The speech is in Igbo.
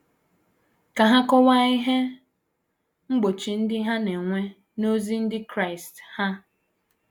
Ka ha kọwaa ihe mgbochi ndị ha na - enwe n’ozi ndị Kraịst ha.